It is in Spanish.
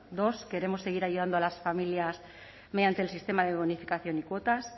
dos queremos seguir ayudando a las familias mediante el sistema de bonificación y cuotas